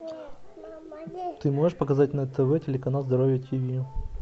ты можешь показать на тв телеканал здоровье тиви